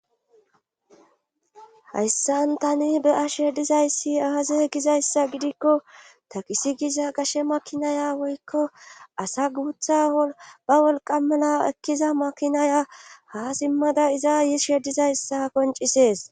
hayssan tani be7ashe dizayssi aaze gizayssa gidikko takisi giza gashe makinaya woykko asa guutha ba wolqamala ekkiza makinaya haa simmada iza yishe dizayssa qoncisees.